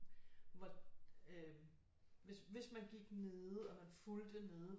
Hvis man gik nede og man fulgte nede